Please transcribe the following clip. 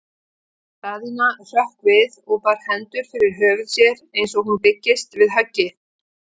Daðína hrökk við og bar hendur fyrir höfuð sér eins og hún byggist við höggi.